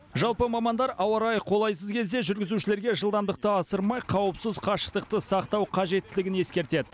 жалпы мамандар ауа райы қолайсыз кезде жүргізушілерге жылдамдықты асырмай қауіпсіз қашықтықты сақтау қажеттілігін ескертеді